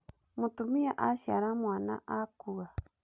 Mũtumia aciara mwana akua